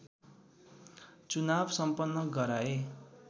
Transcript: चुनाव सम्पन्न गराए